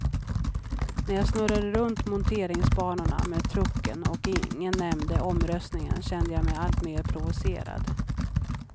När jag snurrade runt monteringsbanorna med trucken och ingen nämnde omröstningen kände jag mig alltmer provocerad.